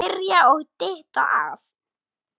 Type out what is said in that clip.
Smyrja og dytta að.